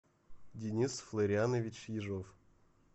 денис флорианович ежов